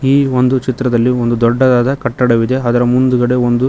ಈ ಒಂದು ಚಿತ್ರದಲ್ಲಿ ಒಂದು ದೊಡ್ಡವಾದ ಕಟ್ಟಡವಿದೆ ಅದರ ಮುಂದುಗಡೆ ಒಂದು--